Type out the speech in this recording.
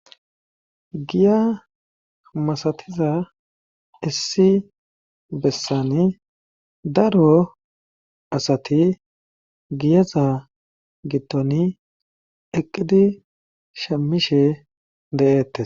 Giya masatiza issi bessani daro asati giyaza gittoni eqqidi shemishe de7eette.